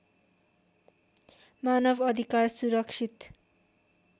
मानव अधिकार सुरक्षित